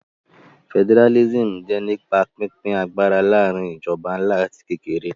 Federalism jẹ́ nípa pínpín agbára láàrin ìjọba ńlá àti kékeré